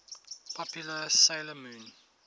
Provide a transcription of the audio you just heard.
popular 'sailor moon